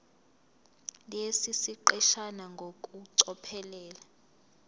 lesi siqeshana ngokucophelela